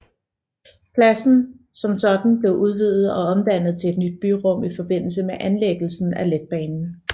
Pladsen som sådan blev udvidet og omdannet til et nyt byrum i forbindelse med anlæggelsen af letbanen